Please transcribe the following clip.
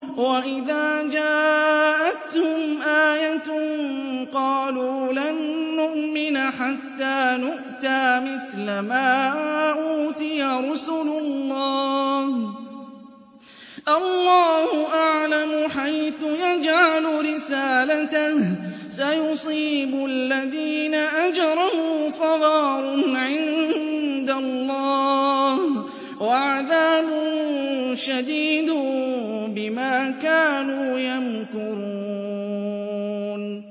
وَإِذَا جَاءَتْهُمْ آيَةٌ قَالُوا لَن نُّؤْمِنَ حَتَّىٰ نُؤْتَىٰ مِثْلَ مَا أُوتِيَ رُسُلُ اللَّهِ ۘ اللَّهُ أَعْلَمُ حَيْثُ يَجْعَلُ رِسَالَتَهُ ۗ سَيُصِيبُ الَّذِينَ أَجْرَمُوا صَغَارٌ عِندَ اللَّهِ وَعَذَابٌ شَدِيدٌ بِمَا كَانُوا يَمْكُرُونَ